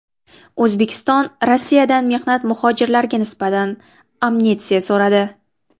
O‘zbekiston Rossiyadan mehnat muhojirlariga nisbatan amnistiya so‘radi.